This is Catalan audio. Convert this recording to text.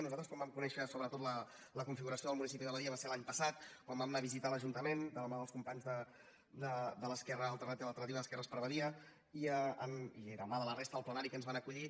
nosaltres quan vam conèixer sobretot la configuració del municipi de badia va ser l’any passat quan vam anar a visitar l’ajuntament de la mà dels companys de l’esquerra alternativa d’alternativa d’esquerres per badia i de la mà de la resta del plenari que ens van acollir